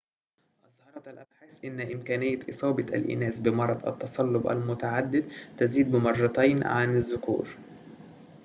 أظهرت الأبحاث أن إمكانية إصابة الإناث بمرض التصلب المتعدد تزيد بمرتين عن الذكور